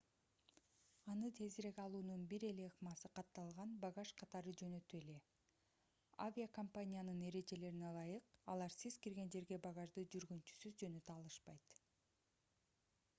аны тезирээк алуунун бир эле ыкмасы катталган багаж катары жөнөтүү эле авиокомпаниянын эрежелерине ылайык алар сиз кирген жерге багажды жүргүнчүсүз жөнөтө алышпайт